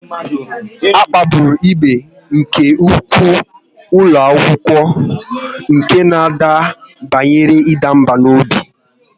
A kpagburu ibe nke ụkwụ n'ụlọ akwụkwọ nke na ọ banyere ịda mbà n'obi